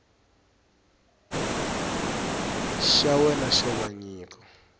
xa wena xo va nyiko